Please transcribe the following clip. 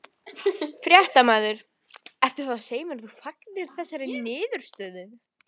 Fréttamaður: Ertu þá að segja að þú fagnir þessari niðurstöðu?